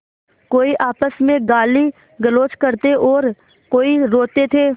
कोई आपस में गालीगलौज करते और कोई रोते थे